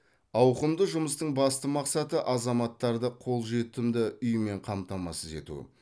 ауқымды жұмыстың басты мақсаты азаматтарды қолжетімді үймен қамтамасыз ету